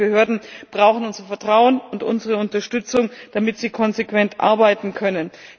Sicherheitsbehörden brauchen unser Vertrauen und unsere Unterstützung, damit sie konsequent arbeiten können.